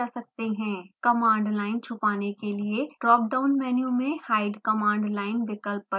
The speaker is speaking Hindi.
command line छुपाने के लिए ड्रापडाउन मेनू में hide command line विकल्प पर क्लिक करें